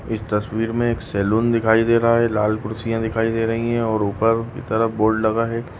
इस तस्वीर में एक सलून दिखाई दे रहा है लाल कुर्सियां दिखाई दे रही है और ऊपर की तरफ बोर्ड लगा है।